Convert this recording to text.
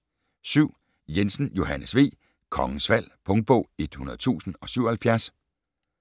7. Jensen, Johannes V.: Kongens Fald Punktbog 100077